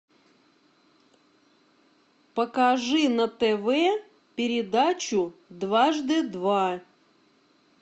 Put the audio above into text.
покажи на тв передачу дважды два